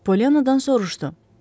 Polyannadan soruşdu.